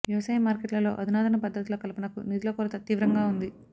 వ్యవసాయ మార్కెట్లలో ఆధునాతన పద్ధతుల కల్పనకు నిధుల కొరత తీవ్రంగా ఉంది